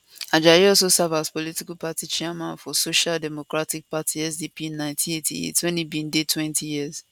ajayi also serve as political party chairman for social democratic party sdp in 1988 wen e bin deytwentyyears